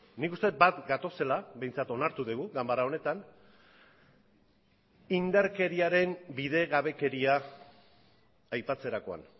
nik uste dut bat gatozela behintzat onartu dugu ganbara honetan indarkeriaren bidegabekeria aipatzerakoan